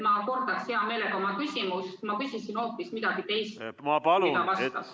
Ma kordan hea meelega oma küsimust, sest ma küsisin hoopis midagi muud, kui ta vastas.